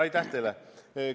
Aitäh teile!